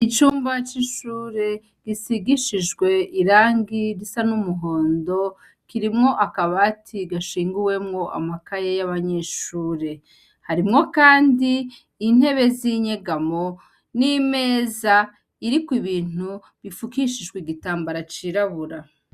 Icumba c'ishure gisigishijwe irangi risa n'umuhondo kirimwo akabati gashinguwemwo ibitabo vy'abanyeshure harimwo kando intebe z'inyegamo n'imeza iriko ibintu bifukishijwe igitambara cirabura.